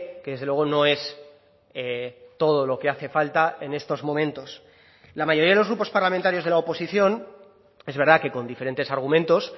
que desde luego no es todo lo que hace falta en estos momentos la mayoría de los grupos parlamentarios de la oposición es verdad que con diferentes argumentos